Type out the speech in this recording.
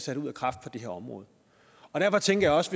sat ud af kraft på det her område derfor tænkte jeg også